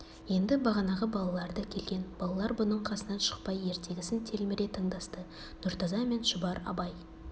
енді бағанағы балалар да келген балалар бұның қасынан шықпай ертегісін телміре тыңдасты нұртаза мен шұбар абай